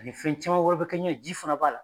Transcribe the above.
Ani fɛn caman wɛrɛ bɛ kɛ ɲɛ, ji fɛnɛ b'a la.